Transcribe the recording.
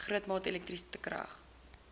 grootmaat elektriese krag